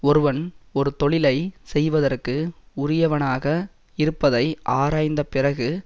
ஒருவன் ஒரு தொழிலை செய்வதற்கு உரியவனாக இருப்பதை ஆராய்ந்த பிறகு